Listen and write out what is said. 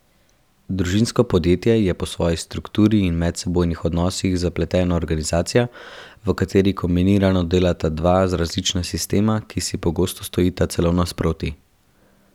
Družinsko podjetje je po svoji strukturi in medsebojnih odnosih zapletena organizacija, v kateri kombinirano delata dva zelo različna sistema, ki si pogosto stojita celo nasproti.